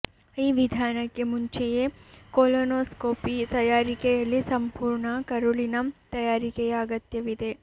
ಈ ವಿಧಾನಕ್ಕೆ ಮುಂಚೆಯೇ ಕೊಲೊನೋಸ್ಕೋಪಿ ತಯಾರಿಕೆಯಲ್ಲಿ ಸಂಪೂರ್ಣ ಕರುಳಿನ ತಯಾರಿಕೆಯ ಅಗತ್ಯವಿದೆ